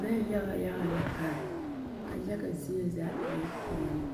Loɛ yaga yaga la are ka a yaga zie zaa e la peɛle